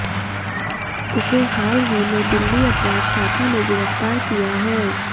उसे हाल ही में दिल्ली अपराध शाखा ने गिरफ्तार किया है